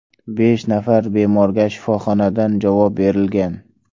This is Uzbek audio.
Besh nafar bemorga shifoxonadan javob berilgan.